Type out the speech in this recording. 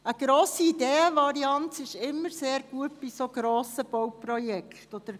Bei so grossen Bauprojekten ist eine grosse Ideenvarianz immer sehr gut.